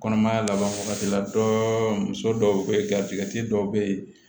Kɔnɔmaya laban wagati la dɔɔnin muso dɔw bɛ yen garijigɛ dɔw bɛ yen